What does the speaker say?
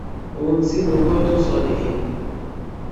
ohun tí mo gbọ tó sọ nìyẹn